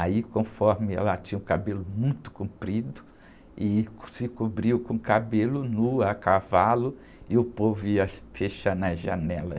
Aí, conforme ela tinha o cabelo muito comprido e se cobriu com cabelo, nua, a cavalo, e o povo ia fechando as janelas.